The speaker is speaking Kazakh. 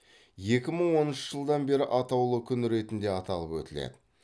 екі мың оныншы жылдан бері атаулы күн ретінде атап өтіледі